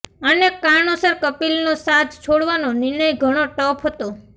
અનેક કારણોસર કપિલનો સાથ છોડવાનો નિર્ણય ઘણો ટફ હતો